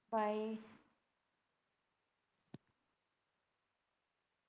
bye